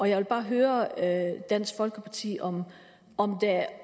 jeg vil bare høre dansk folkeparti om